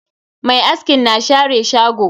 Mai askin na share shago.